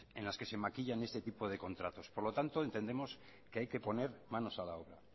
en las que se maquillan este tipo de contratos por lo tanto entendemos que hay que ponerse manos a la obra